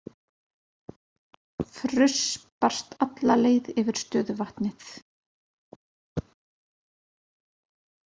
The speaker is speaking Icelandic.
Fruss barst alla leið yfir stöðuvatnið.